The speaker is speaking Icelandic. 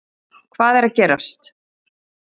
Hvað er að gerast